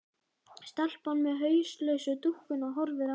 Stelpan með hauslausu dúkkuna horfir á hana.